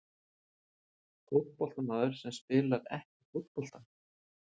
Fótboltamaður sem spilar ekki fótbolta?